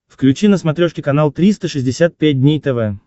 включи на смотрешке канал триста шестьдесят пять дней тв